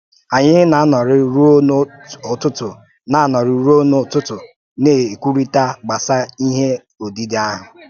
Anyị na-anọ́rị̀ ruo n’ụ́tụ́tụ́ na-anọ́rị̀ ruo n’ụ́tụ́tụ́ na-ekwúrị̀tà gbasà ihe ọ́díde ahụ́